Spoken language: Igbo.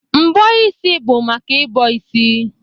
Mbọ isi bụ maka ị bọ isi.